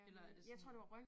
Eller er det sådan